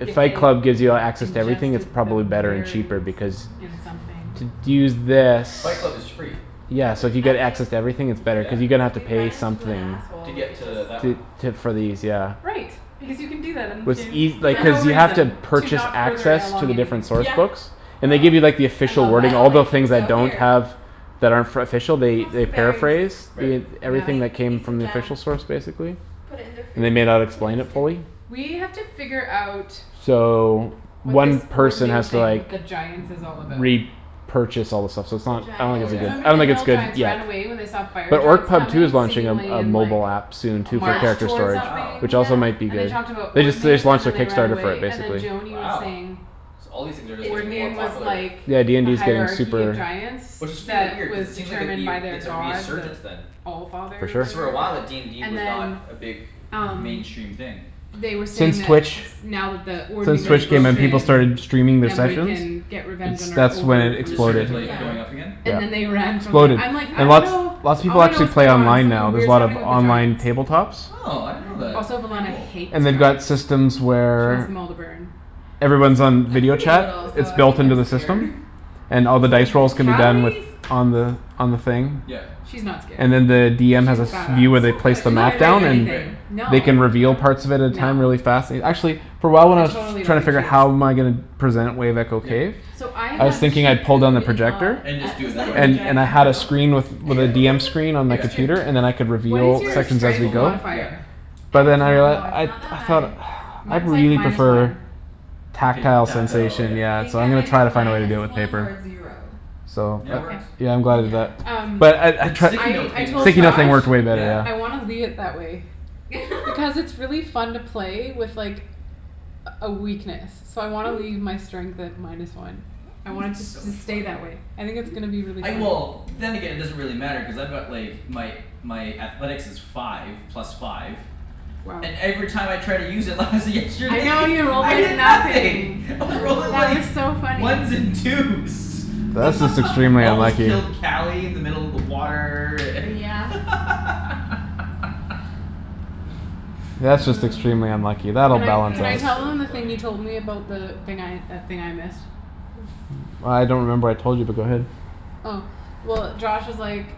If If Fight they Club gives you access to everything it's ingested the probably better and cheaper berries because in something. To to use this Fight Club is free Yeah currently so if you I get access mean to everything it's better Yeah cuz you're gonna have to We pay run into an something. To asshole we get could just to that one To to for these yeah. Right, because you can do that in this What's game. eas- For Yeah no cuz you have to reason. To Purchase not further access to along the anything. different source Yeah books And they Ah give you like the I official love I wording that. don't all like the you things so that don't here have That are for official they Have they some berries, paraphrase Right Yeah everything eat that came eat some from the jam official source basically. Put it in their And they food. may not Put it explain in it stew. fully. We have to figure out So What this One person ordening has to thing like with the giants is all about. re-purchase all the stuff so it's The not I don't Oh think it's giants? Cuz good yeah. remember I the don't think it's hill good giants ran yet. away when they saw The fire orc giants pub too is coming launching a seemingly a in like mobile app Soon A too Yeah for march character toward storage Wow which something yeah also might be And they good talked about They just they just ordening and launched their then they ran Kickstarter for it away, and then basically. Joany was Wow saying so all these things are like It's getting more weird Ordening cuz was popular. like Yeah The DND's getting hierarchy of super giants Which is fear That weird cuz was it seems like it'd determined be by their it's a god resurgence the then. For Allfather or sure. Cuz for whatever a while uh Yeah DND and was not then a big Um mainstream thing they were saying Since that Twitch Now that the since ordening Right is Twitch came in people streaming broken started streaming their Yeah Then we right sessions. can get revenge It's on our that's when over it It just rulers exploded. started or like whatever. going up Yeah again? And then they Yeah ran from them. Exploded I'm like, "I and dunno. lot Lots of I people wanna know actually what's play going on." online Something now. There's a weird's lot of happening with the online giants. tabletops Oh I I didn't know that. Also didn't like Velana Cool. hates They've got giants. systems She wants where them all to burn. Everyone's on I'm video pretty little chat. so It's I built think into I'm the scared. system And She's all the like dice this rolls can be tough done with Cali On the on the thing Yep She's not scared. And then the DM has She's a s- badass. view where I they don't feel place like the You're she's not mat scared of afraid of down and anything. Right anything. No. They can No reveal parts of it at a No. time really fast and actually For a while when I I was totally don't trying to think figure she is. how am I gonna Present it wave echo Yep cave So I I I was have mean thinking she I'd pull down the cooed and awwed projector And at just do the it that sight of a way. And and I dragon had a so screen with With a Yep DM screen on the It's yep true. computer and then I could What is Reveal Right your sections as we strength go slowly yep modifier? I But then I don't rea- know, it's I not that I high. thought I'd Mine's like really minus prefer one. The pap- tactile tactile sensation yep I yeah think so I I'm gonna might be try to find a way to minus do it with one or paper. zero. So Yeah it Okay works yeah I'm glad I did Yeah that. Um But I I The sticky trie- I note I thing works told Josh Sticky great note thing I was way better yeah yeah. wanna leave it that way. Because it's really fun to play with like A a weakness. So I wanna leave my strength at minus one. I want it It's to so s- stay funny. that way. I think it's gonna be really I fun. well then again Yeah it doesn't really matter cuz I've got like My my athletics is five plus five Wow And every time I tried to use it lies I yesterday know you rolled I like hear nothing. nothing. I was rolling That like was so funny. Ones and twos That's just extremely I almost unlucky. killed Cali in the middle of the water and Oh yeah That's just extremely unlucky. That'll Can I balance can I tell out. So them the thing funny you told me about the thing I that thing I missed? Oh I don't remember what I told you but go ahead. Oh well Josh was like,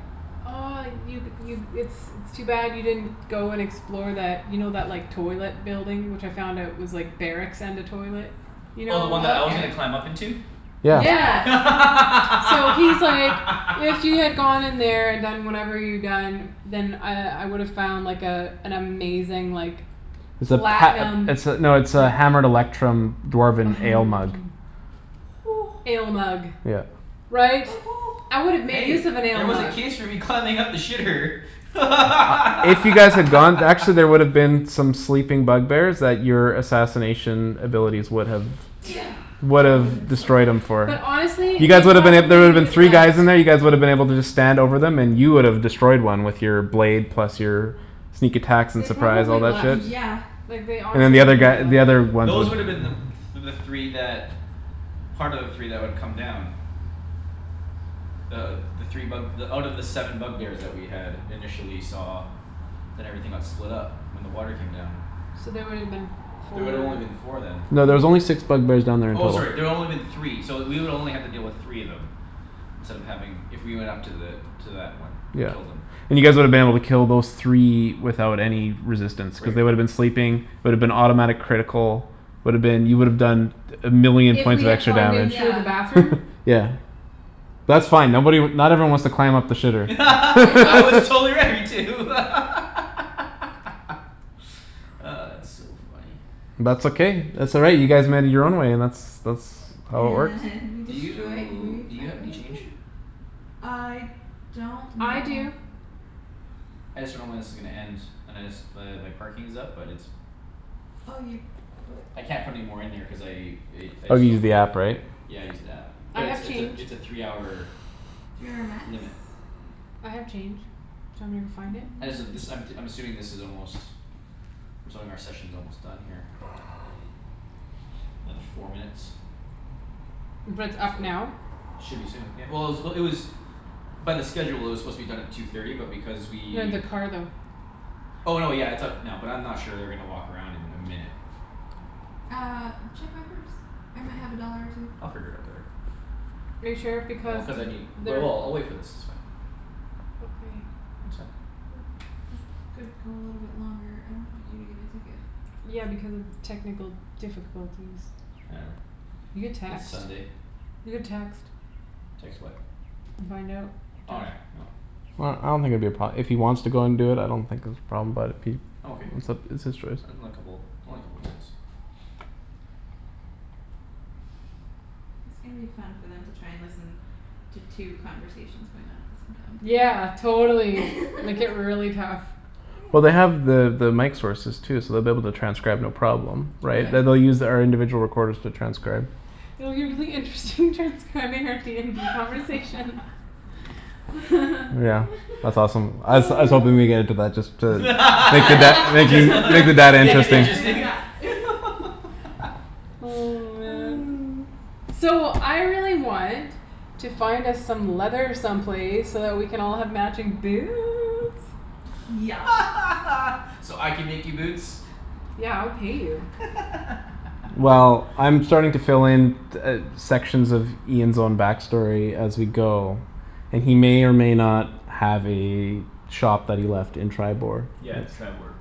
"Oh you you it's it's too bad you didn't go and explore that." You know that like toilet building which I found out was like Barracks and a toilet? You Oh the one know? that I was Okay gonna climb up into? Yeah Yeah. Yeah So he's like, "If you had gone in there and done whatever you'd done." Then I I would've found like a An amazing like It's a Platinum pat- it's a no it's like a hammered electrum Oh dwarven hammer ale mug. electrum Ale mug. Yeah Right? I would've made Hey use of an ale there was a mug. case for me climbing up the shitter If you guys had gone actually there would've been some sleeping bug bears that your assassination abilities would have Yeah that woulda been Would've so destroyed 'em for But That honestly, You woulda guys they woulda been been a- so there woulda been probably three guys left. in there you guys woulda been able to just Stand over 'em and you would've destroyed one with Your blade plus your Sneak attacks and They surprise all probably that left. shit. Yeah Like they And the honestly they other guy probably the other left. ones Those would woulda them the the three that Part of the three that would come down Uh the three bug out of the seven bug bears that we had initially saw Then everything got split up when the water came down. So they woulda been There four would've only been four then. No there's only six bug bears down there in Oh total. sorry there only been three so we would only have to deal with three of them Instead of having if we went up to the to that one and Yeah killed 'em. and you guys woulda been able to kill those three Without any resistance cuz Right they woulda been sleeping Would've been automatic critical Would've been you would've done A million If points we of had extra climbed in damage through Yeah the bathroom? Yeah That's fine nobody not everyone wants to climb up the shitter I was totally ready to It's so funny. That's okay that's all right you guys made it your own way that's that's how it works. And we Do destroyed you Wave do you have any Echo change? Cave. I don't I know do I just dunno when this is gonna end and I just but my parking is up but it's Oh you put I can't put any more in there cuz I i- I Oh just you don't used the have app right? Yeah I used the app I but it's have it's a change. it's a three hour Three hour max limit I have change. Do you want me to go find it? I just uh this Yeah I'm t- I'm assuming this is almost I'm assuming our session's almost done here Another four minutes. But it's Or so. up now? Should be soon yeah. Well it was it was by the schedule it was supposed to be done at two thirty but because we No the car though. Oh no yeah it's up now but I'm not sure they're gonna walk around in a minute. Uh check my purse. I might have a dollar or two. I'll figure it out later. Are you sure? Well Because cuz I need but they're well I'll wait for this it's fine. Okay It's fine. Well this could go a little longer I don't want you to get a ticket. Yeah because of technical difficulties. Whatever, You could it's text. Sunday. You could text. Text what? And find out Oh yeah no Well I don't think it'd be a pro- if he wants to do it I don't think it'd be a problem but if he I'm okay. it's up it's his choice. Unlikeable it's only a couple minutes. It's gonna be fun for them to try and listen to two conversations going on at the same time. Yeah totally make it really tough. Well they Yeah have the the mic sources too so they'll be able to transcribe no problem Yeah. Yeah Right they they'll use our individual recorders to transcribe. Oh it'll be really interesting transcribing out DND conversations. Yeah that's awesome. I was I was hoping we would get into that just to make it that make you Just to like make it that make it interesting. interesting Yeah Oh man So I really want to find us some leather some place so that we can all have matching boots. Yes So I can make you boots? Yeah I would pay you. Well I'm starting to fill in t- uh sections of Ian's own back story as we go And he may or may not Have a shop that he left in Triboar. Yeah Triboar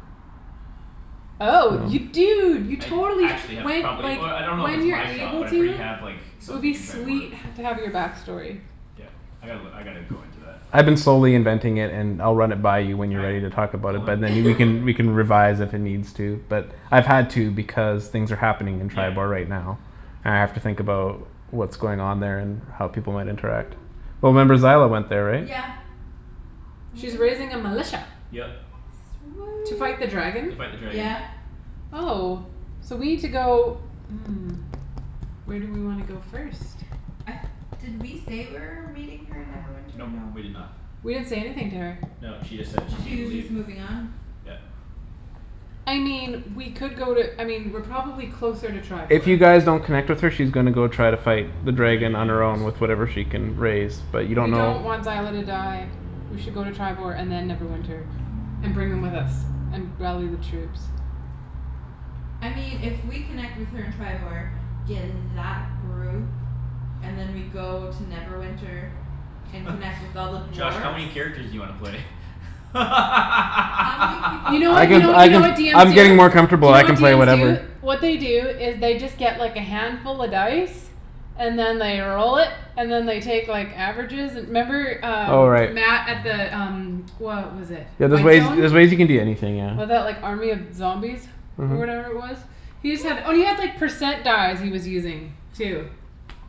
Oh you I dunno dude you I totally actually sh- have when probably like oh I don't know if When it's you're my shop able but I pretty to have like It would Something be in Triboar. sweet h- to have your back story. Yeah I gotta look I gotta go into that. I've been slowly inventing it and I'll run it by you When All you're right ready to talk about cool it man. but then we can We can revise if it needs to but I've had to because things are happening In Yeah Triboar right now, and I have to think about What's going on there and how people might interact. Well remember Zyla went there right? Yeah Oh She's raising a militia. yeah Yep To fight the dragon? To fight the Sweet dragon. yeah Oh. So we need to go Where do we wanna go first? Uh did we say we're meeting her in Neverwinter or Nope no? we did not We didn't say anything to her. No, she just said she She needed to was leave. just moving on? Yeah I mean we could go to I mean we're probably closer to If Triboar. you guys don't connect with her she's gonna go try to fight The The dragon dragon on her anyways own with yeah. whatever she can raise. But you don't We know don't want Zyla to die. We should go to Triboar and then Neverwinter, and bring them with us, and rally the troops. I mean if we connect with her in Triboar, get that group And then we go to Neverwinter And connect with all the Josh how dwarves many characters do you wanna play? How many people You do know we I what you can need know you I to know what bring can into DMs I'm do? getting more this? Do comfortable you know I can what play DMs do? whatever What they do is they just get like a handful of dice. And then they roll it, and then they take like averages and 'member Oh um right. Matt at the um What was it Yeah there's ways Whitestone? there's ways you can do anything yeah. Was that like army of zombies? Or Mhm whatever it was? He just had oh and he had percent dice he was using too.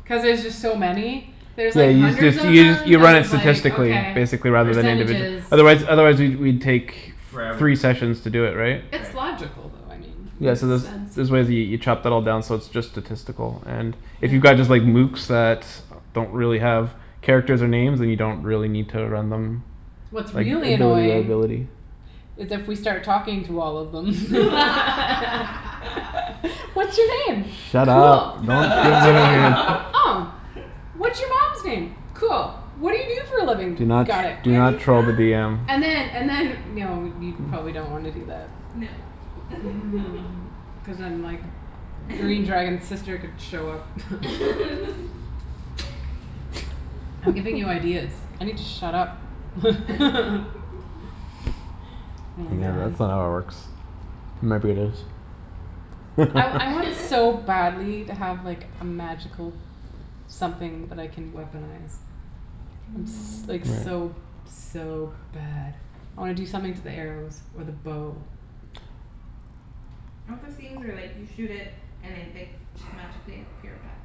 Cuz there's just so many There's Yeah like you hundreds just of use them you you then run it he's like statistically okay basically rather Right than individual Percentages. Otherwise otherwise we'd we'd take Forever. Three sessions to do it right? It's Right. logical though I mean Yeah makes so Mhm there's sense. there's ways you you chop that all down so it's just statistical and If you Yeah got just like Lukes that Don't really have characters or names then you don't really need to run them Like What's really annoying ability is if we start talking to all of them. What's your name? Shut Cool. up don't give What's your them any name? id- Oh What's your mom's name? Cool. What do you do for a living? Do not Got it. do Where're you not troll the from? DM And then and then no we probably don't wanna do that. No Cuz then like Green dragon's sister could show up I'm giving you ideas. I need to shut up Oh Yeah man that's not how it works. I I want so badly to have like a magical Something that I can weaponize. I'm s- No like so so bad I wanna do something to the arrows or the bow. I want those things where like you shoot it and I like just magically appear back.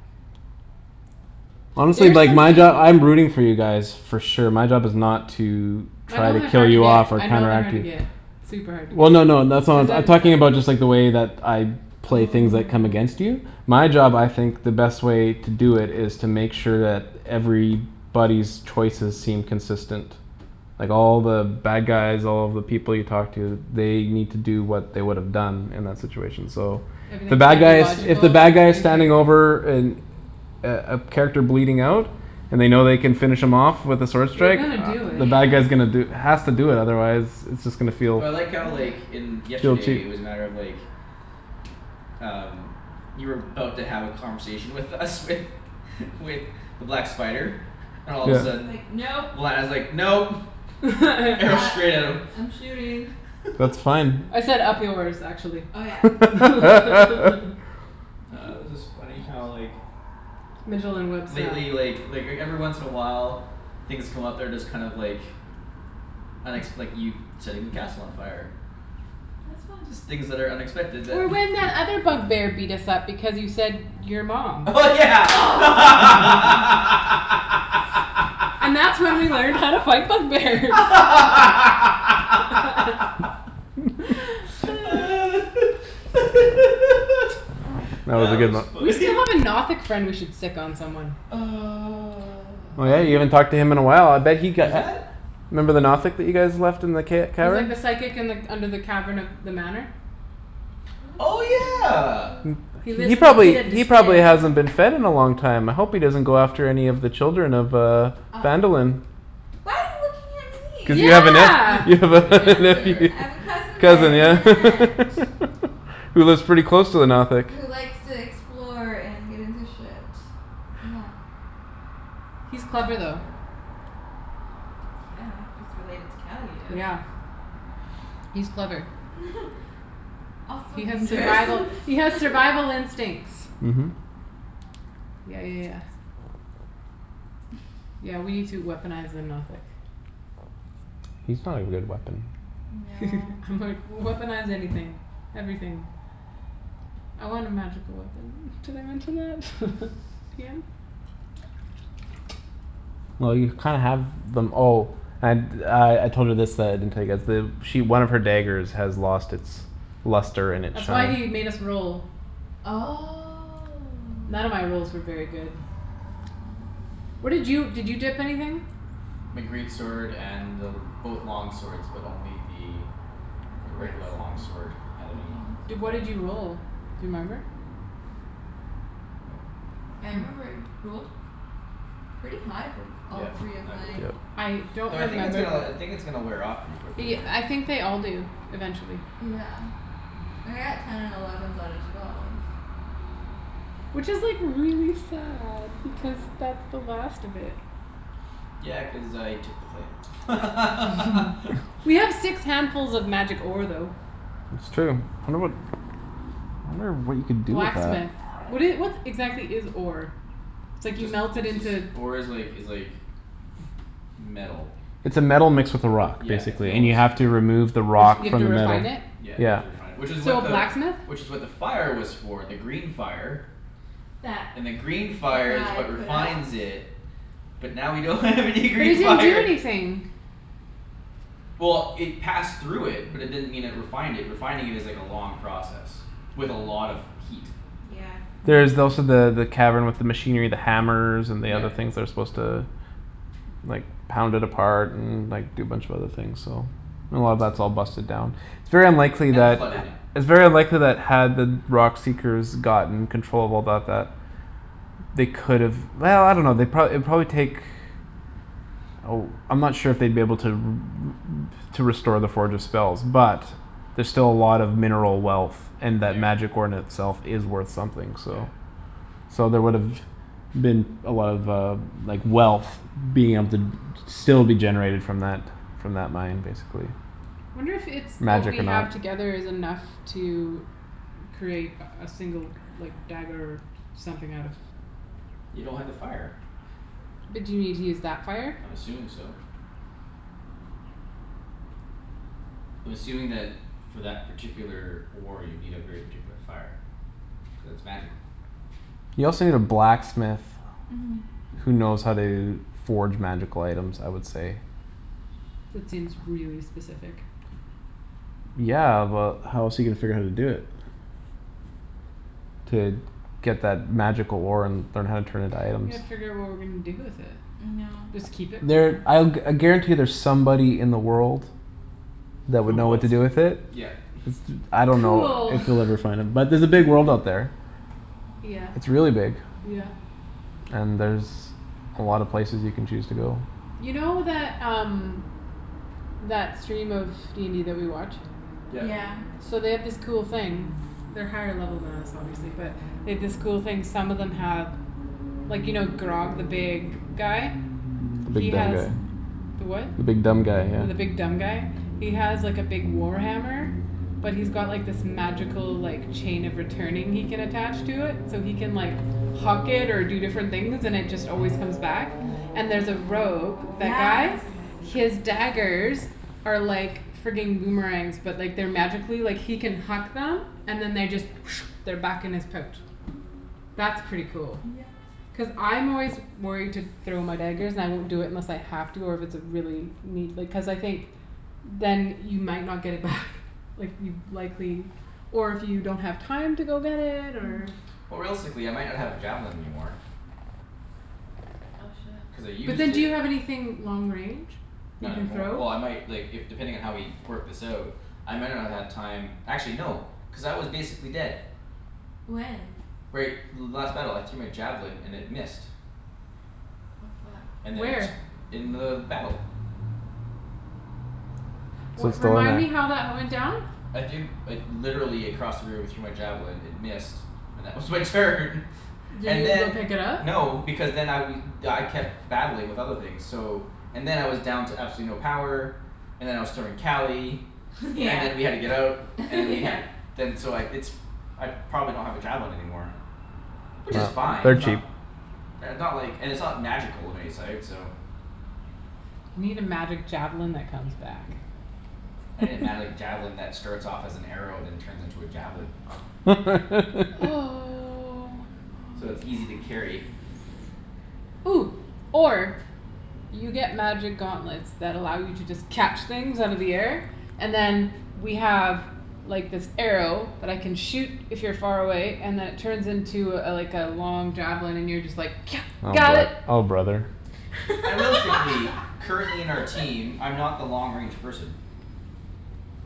Honestly There's like my job something I'm rooting for you guys. For sure my job is not to My Try know to they're kill hard to you get off or I know they're counteract hard to you get Super hard to Well no no that's get. Cuz not then I'm talking about it's like just the way that I play things that come against Oh you My job I think the best way To do it is to make sure that Everybody's choices seem consistent Like all the bad guys all the people you talk to They need to do what they would've done In that situation so The Everything's bad gotta be guys if logical the bad guys in Standing character? over an A a character bleeding out And they know they can finish him off With a sword They're strike gonna do the it. Yeah bad guy's gonna do Has to do that otherwise It's just gonna feel Well I like how like Yeah in feel yesterday it cheap was a matter of like Um You were 'bout to have a conversation with us with With the black spider and all of And a then he's sudden Yeah like, "Nope." when I was like, "Nope", arrow Uh straight at him I'm shooting. That's fine I said, "Up yours", actually, Oh yeah Oh it was just funny how like Mijolin Webb style. Lately like like everyone once in a while Things come up they're just kind of like Unexp- like you setting the castle on fire. That was fun Things that are unexpected that Or when that other bug bear beat us up because you said, "Your mom." Oh yeah And that's when we learned how to fight bug bears That was a That good was one. We funny. still have a Nothic friend we should sic on someone. Oh Uh yeah you who? haven't talked to him in a while I bet he Who's got that? Remember the Nothic that you guys left in the ca- He's like cavern? the psychic and like under the cavern of the manor. Oh yeah He lives He in the probably pit of he probably despair. hasn't been fed in a long time I hope he doesn't go after any of the children of uh Uh oh. Phandalin Why are you looking at Cuz you me? have a Yeah ne- you have You have an a aunt nephew there there I have a cousin there Cousin and an yeah aunt. Who lives pretty close to the Nothic. Who likes to explore and get into shit. Yeah. He's That's funny. clever though. Yeah, he's related to Calius Yeah He's clever. Also He has dangerous survival he has survival instincts. Mhm Yeah yeah yeah Yeah we need to weaponize the Nothic. He's not a good at weapon. No I'm like, "Weaponize anything. Everything." I want a magical weapon. Did I mention that? DM? Well you kinda have them oh And uh I told her this that I didn't tell you guys the She one of her daggers has lost its Luster and its That's why shine he made us roll. None of my Oh rolls were very good. What did you did you dip anything? My great sword and both long swords but only the The The great regular long sword sword had with the any long Di- what effect. did you sword roll? Remember? Nope, I don't I remember remember. rolled Pretty high for b- all Yeah three of I did. mine. I don't Though I think it's remember uh I the think it's gonna wear off pretty quickly y- here. I think they all do eventually. Yeah Like I got ten and elevens out of twelve. Which is like really sad because that's the last of it. Yeah cuz I took the flame We have six handfuls of magic ore though. It's true um I wonder what I wonder what you can do with that. Blacksmith. What do you what exactly is ore? It's like you Just melt it it's just into ore is like is like Metal. It's a metal mixed with a rock Yeah, it's Basically metal and you mixed have with the to remove the Re- so rock you have From to the refine metal. it? Yeah you have Yeah to refine it which is what So the blacksmith? Which is what the fire was for the green fire That And then green fire is I what put out? refines it. But now we don't have any But it green didn't do fire anything. Well it passed through it but it didn't mean it refined it refining is like a long process. With a lot of heat. Yeah There's also the the cavern with the Machinery the hammers and the other Yep. things They're supposed to like Pound it apart and like do a bunch of other things so And a lot of that's all busted down It's very unlikely And flooded that now. It's very unlikely that had the rock seekers gotten controllable about that They could've I dunno they'd pro- it'd probably take Oh I'm not sure if they'd be able to r- r- To restore the forge's spells but There're still a lot of mineral wealth And that There magic ore in itself is worth something so Yep So there would've been a lot of uh like wealth Being able to still be generated from that From that mine basically. Wonder if it's what Magic we or have not together is enough to Create a a single like dagger something out of You don't have the fire. But do you need to use that fire? I'm assuming so. I'm assuming that for that particular ore you need a very particular fire. Cuz it's magical. You also need a blacksmith Mhm Who knows how to forge magical items I would say. That seems really specific. Yeah but how else are you gonna figure out how to do it? To get that magical ore and learn how to turn it into items. Yeah figure out what we're gonna do with it. No Just keep it for There now? I'll I guarantee there's somebody in the world. That Who would know what to wants do it? with it. Yeah It's j- I don't know Cool if you'll ever find him. But there's a big world out Yeah there. Yeah It's really big. yeah And there's a lot of places you can choose to go. You know that um That stream of DND that we watch? Yep Yeah So they have this cool thing They're higher level than us obviously but they have this cool thing some of them have Like you know Grogg the big guy? The He big dumb has guy the what? The big dumb guy yeah. The big dumb guy? He has like a big war hammer But he's got this magical like Chain of returning he can attach to it so he can like Huck it or do different things and it just always comes back And there's a rogue that guy Yes His daggers Are like frigging boomerangs but like they're like magically like he can huck them and then they just They're back in his pouch. That's pretty cool. Yep Cuz I'm always worried to throw my daggers and I won't do it unless I have to or if it's a really need like cuz I think Then you might not get it back Like you'd likely Or if you don't have time to go get it or Or realistically I might not have a javelin anymore. Oh shit. Cuz I But used then do it you have anything long range you Not can anymor- throw? Well I might like if depending on how we work this out. I might not have had time actually no cuz I was basically dead. When? Right last battle I threw my javelin and it missed. Oh fuck And then Where? it in the battle. So Well it's still remind in the me how that went down? I threw like literally across the room I threw my javelin it missed. And that was my turn. Did And you go then pick it up? no because then I we I kept battling with other things so And then I was down to absolutely no power And then I was throwing Cali Yeah And then we had to get out and then we yeah had to Then so I it's I probably don't have a javelin anymore. Which is fine They're it's not cheap. they're not like and it's not magical of any sort so You need a magic javelin that comes back. I need a magic javelin that starts off as an arrow then turns into a javelin. Oh Oh So yes it's easy to carry. Or You get magic gauntlets that allow you to just catch things out of the air And then we have like this arrow that I can shoot if you're far away and it turns into a like a long javelin and you're just like, Oh "got bro- it." oh brother. I realistically currently in our team I'm not the long range person.